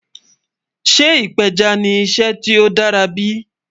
Sẹ́ ìpẹjá ni ìṣẹ́ tí ó dàra bí?